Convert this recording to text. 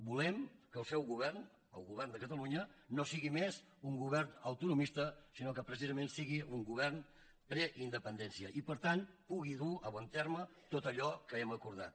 volem que el seu govern el govern de catalunya no sigui més un govern autonomista sinó que precisament sigui un govern preindependència i per tant pugui dur a bon terme tot allò que hem acordat